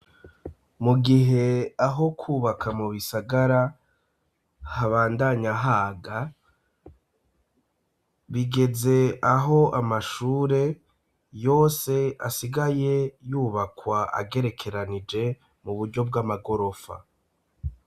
Mu gihe aho kwubaka mu bisagara habandanyahaga bigeze aho amashure yose asigaye yubakwa agerekeranije mu buryo bw'amagorofa.